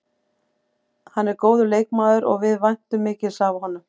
Hann er góður leikmaður og við væntum mikils af honum.